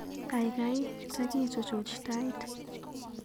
Gaigai takichuchuch Tait